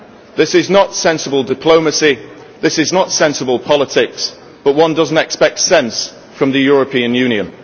This is not sensible diplomacy, this is not sensible politics, but one does not expect sense from the European Union.